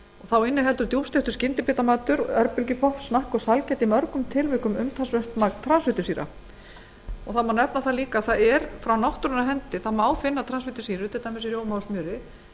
þá innihalda djúpsteiktur skyndibitamatur örbylgjupopp snakk og sælgæti í mörgum tilvikum umtalsvert magn transfitusýra einnig má nefna að frá náttúrunnar hendi má finna transfitusýrur til dæmis í rjóma og smjöri